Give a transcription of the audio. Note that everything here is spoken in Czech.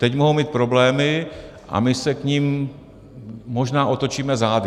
Teď mohou mít problémy a my se k nim možná otočíme zády.